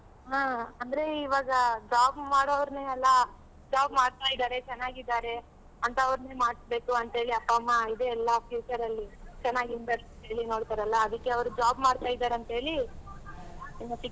ಆ ಅಂದ್ರೆ ಇವಾಗ job ಮಾಡೋವ್ರ್ನೆ ಅಲ job ಮಾಡ್ತಾ ಇದಾರೆ ಚೆನ್ನಾಗಿದಾರೆ ಅಂತ ಅವ್ರ್ನೇ ಮಾಡ್ಸ್ಬೇಕು ಅಂತ್ ಹೇಳಿ ಅಪ್ಪ ಅಮ್ಮ ಇದು ಎಲ್ಲಾ future ಅಲ್ಲಿ ಚೆನ್ನಾಗಿ ನೋಡ್ತಾರಲ್ಲ ಅದಕ್ಕೇ ಅವ್ರ್ job ಮಾಡ್ತಾ ಇದಾರಂತ್ ಹೇಳಿ ಏನು fix ,